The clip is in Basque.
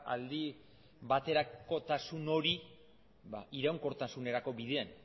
aldi baterakotasun hori iraunkortasunerako bidean